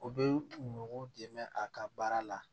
U bɛ kungo dɛmɛ a ka baara la